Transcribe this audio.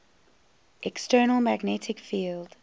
external magnetic field